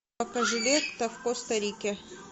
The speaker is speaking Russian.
покажи лето в коста рике